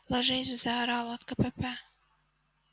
ложись заорала от кпп